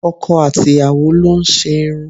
Ọkọ àti ìyàwó lo n ṣe irun